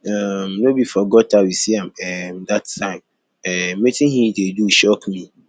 um no be for gutter we see am um dat time um wetin he dey do shock me